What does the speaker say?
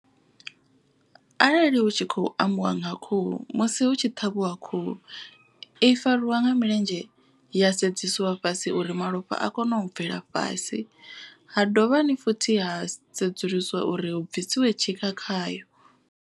Arali hu tshi khou ambiwa nga khuhu. Musi hu tshi ṱhavhiwa khuhu i fariwa nga milenzhe ya sedzesiwa fhasi uri malofha a kone u bvela fhasi. Ha dovhani futhi ha sedzulusiwa uri hu bvisiwe tshikha khayo.